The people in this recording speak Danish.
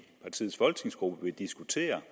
partiets folketingsgruppe vil diskutere